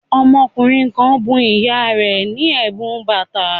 Ọmọkùnrin kan bun ìyá rẹ̀ ní ẹ̀bùn bàtà